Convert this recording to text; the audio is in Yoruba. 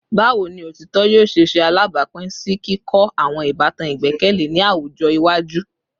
Bawo ni otitọ yoo ṣe ṣe alabapin si kikọ awọn ibatan igbẹkẹle ni awọn awujọ iwaju?